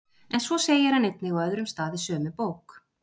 En svo segir hann einnig á öðrum stað í sömu bók: